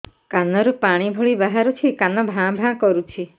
କାନ ରୁ ପାଣି ଭଳି ବାହାରୁଛି କାନ ଭାଁ ଭାଁ କରୁଛି